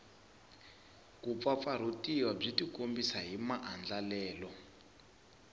kumpfampfarhutiwa byi tikombisa hi maandlalelo